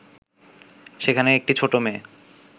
সেখানে একটি ছোট মেয়ে